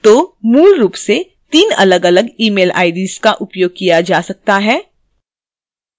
तो मूल रूप से तीन अलगअलग email ids का उपयोग किया जा सकता है